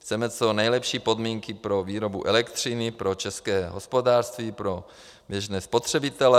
Chceme co nejlepší podmínky pro výrobu elektřiny pro české hospodářství, pro běžné spotřebitele.